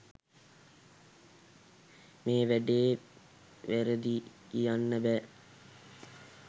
මේ වැඩේ වැරදියි කියන්න බෑ.